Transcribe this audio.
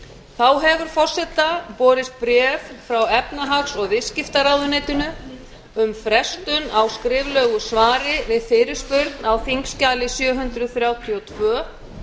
þá hefur forseta borist bréf frá efnahags og viðskiptaráðuneytinu um frestun á skriflegu svari við fyrirspurn á þingskjali sjö hundruð þrjátíu og tvö